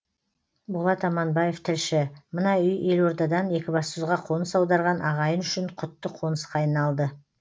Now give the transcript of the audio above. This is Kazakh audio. болат аманбаев тілші мына үй елордадан екібастұзға қоныс аударған ағайын үшін құтты қонысқа айналды